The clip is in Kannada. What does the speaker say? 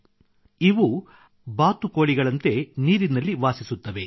ಇವು ಮರದ ಮೇಲಲ್ಲದೆ ಬಾತುಕೋಳಿಯಂತೆ ನೀರಿನಲ್ಲಿ ವಾಸಿಸುತ್ತವೆ